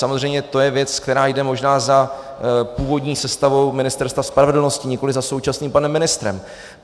Samozřejmě to je věc, která jde možná za původní sestavou Ministerstva spravedlnosti, nikoli za současným panem ministrem.